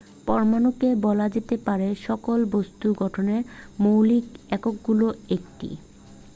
পরমাণুকে বলা যেতে পারে সকল বস্তুর গঠনের মৌলিক এককগুলোর একটি